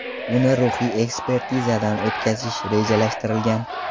Uni ruhiy ekspertizadan o‘tkazish rejalashtirilgan.